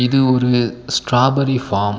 இது ஒரு strawberry farm .